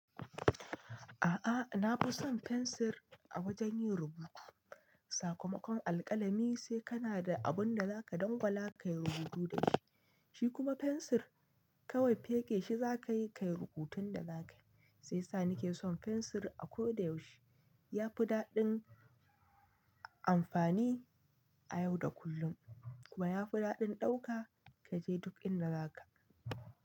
A'a, na fi son fensir a wajen yin rubutu. Sakamakon alƙalami sai kana da abun da zaka dangwala ka yi rubutu da shi, shi kuma fensir kawai feke shi za ka yi rubutun da za ka yi. Sai sa ni ke son fensir a ko da yaushe. Ya fi daɗin amfani a yau da kullum kuma ya fi daɗin ɗauka kaje duk inda zaka.